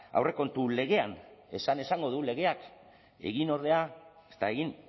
aurrekontu legean esan esango du legeak egin ordea ez da egin